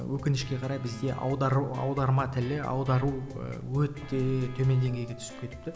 өкінішке қарай бізде аудару аударма тілі аудару ы өте төмен деңгейге түсіп кетіпті